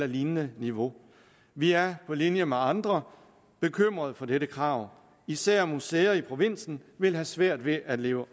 lignende niveau vi er på linje med andre bekymret for dette krav især museer i provinsen vil have svært ved at leve